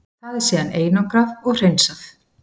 Það er síðan einangrað og hreinsað.